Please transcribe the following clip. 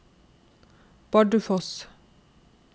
Bardufoss